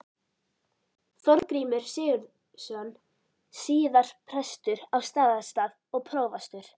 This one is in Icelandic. Þorgrímur Sigurðsson, síðar prestur á Staðarstað og prófastur.